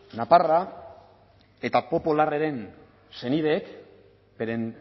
naparra eta popo larraren senideek beren